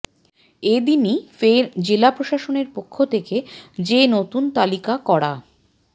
এ দিনই ফের জেলা প্রশাসনের পক্ষ থেকে যে নতুন তালিকা করা